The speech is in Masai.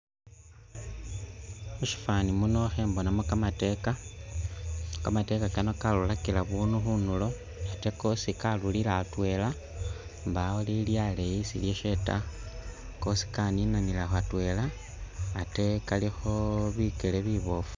Mu syifwaani muno khembonamu kamateeka, kamateeka kano karurakila bunu khunulo ate kosi karurira atwela mbawo lili aleeyi isi ilyaase ta kosi kanina atweela ate kalikho bikele biboofu.